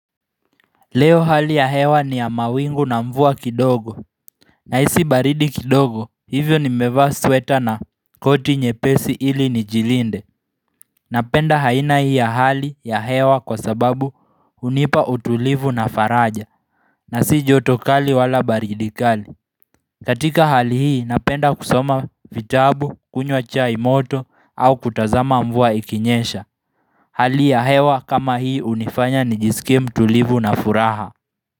Leo hali ya hewa ni ya mawingu na mvua kidogo Nahisi baridi kidogo hivyo nimevaa sweta na koti nyepesi ili nijilinde Napenda aina hii ya hali ya hewa kwa sababu hunipa utulivu na faraja na si jotokali wala baridi kali katika hali hii napenda kusoma vitabu kunywa chai moto au kutazama mvua ikinyesha Hali ya hewa kama hii hunifanya nijisikue mtulivu na furaha.